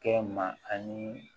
Kɛ ma ani